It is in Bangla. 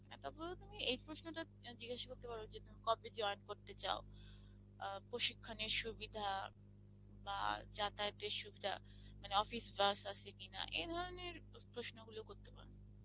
তবুও তুমি এই প্রশ্নটা জিজ্ঞাসা করতে পারো যে না কবে join করতে চাও? প্রশিক্ষণের সুবিধা বা যাতায়াতের সুবিধা মানে office bus আছে কিনা? এ ধরনের প্রশ্নগুলো করতে পারো।